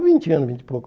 É, vinte anos e pouco.